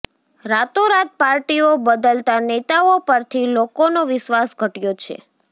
રાતોરાત પાર્ટીઓ બદલતા નેતાઓ પરથી લોકોનો વિશ્વાસ ઘટયો છે